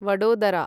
Vadodara